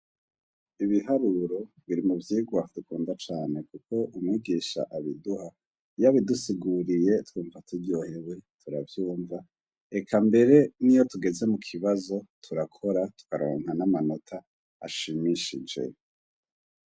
Ibiharuro biri mu vyigwa dukunda cane kuko umwigisha abiduha iyo abidusiguriye twumva turyohewe turavyumva. Eka mbere niyo tugeze mu kibazo turakora tukaronka n'amanota ashimishije.